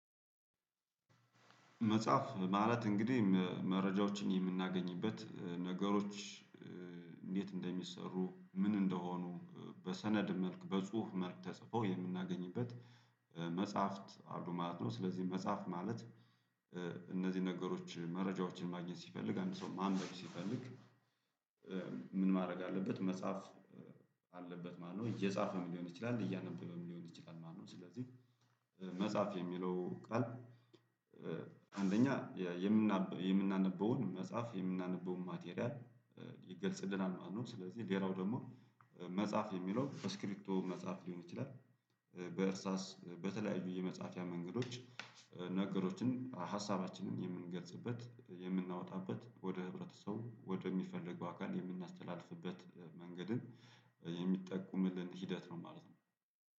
መጽሐፍ ማለት እንግዲህ መረጃዎችን የምናገኝበት ነገሮች እንደሚሰሩ ምን እንደሆኑ በሰነድ መልክ በጽሁፍ መልክ ተጽፎ የምናገኝበት መጽሐፍት አሉ ማለት ነው። ስለዚህ መጽሐፍ ማለት እነዚህ ነገሮች መረጃዎችን ማግኘት ሲፈልግ አንድ ሰው ማንበብ ሲፈልግ። ምን ማድረግ አለበት? መጽሐፍ አለበት ማለት እየጻፈም ሊሆን ይችላል እያነበበም ሊሆን ይችላል። ማነው ስለዚህ መጽሐፍ የሚለው ቃል አንደኛ የምናነበውን መጽሐፍ የምናነበውን ማቴሪያል ይገልጽልናል ማለት ነው። ስለዚህ ሌላው ደግሞ መጻፍ የሚለው በስክሪቢቶ መጻፍ ሊሆን ይችላል። በእርሳስ በተለያዩ የመጽሐፍያ መንገዶች ነገሮችን ሀሳባችንን የምንገልጽበት የምናወጣበት ወደ ህብረተሰብ ወደሚፈለገው አካል የምናስተላልፍበት መንገድን የሚጠቁምልን ሂደት ነው። ማለት ነው